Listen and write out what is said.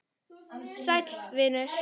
Sæll, vinur.